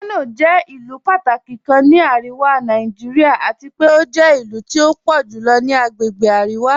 Kanọ jẹ̀ ilu pàtàkí kàn ní Aríwá Nàìjíríà àti pẹ̀ o jẹ̀ ilu tí o pọ̀ julọ ni àgbègbè Aríwá.